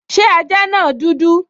Ṣé ajá náà dúdú?